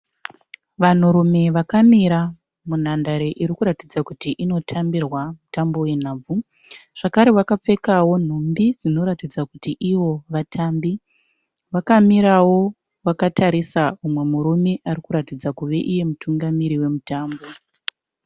Vanhurume vakamira munhandare iri kuratidza kuti inotambirwa mutambo wenhabvu. Zvakare vakapfekawo nhumbi dzinoratidza kuti ivo vatambi. Vakamirawo vakatarisa umwe murume ari kuratidza kuve iye mutungamiri wemutambo.